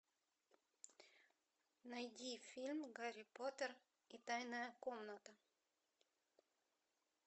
найди фильм гарри поттер и тайная комната